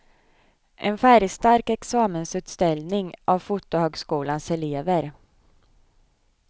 En färgstark examensutställning av fotohögskolans elever.